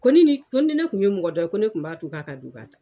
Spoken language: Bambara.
Ko ni ne kun bɛ mɔgɔ dɔn, ko ne kun ba to a ka don k'a ta.